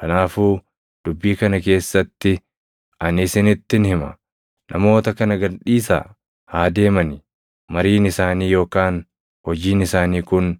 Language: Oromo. Kanaafuu dubbii kana keessatti ani isinittin hima; namoota kana gad dhiisaa! Haa deemani! Mariin isaanii yookaan hojiin isaanii kun